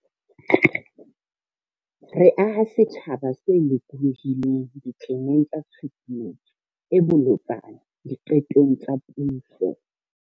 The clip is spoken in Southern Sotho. Re aha setjhaba se lokolohileng ditleneng tsa Tshusumetso e Bolotsana Diqetong tsa Puso.